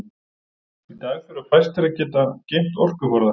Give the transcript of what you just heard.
Í dag þurfa fæstir að geta geymt orkuforða.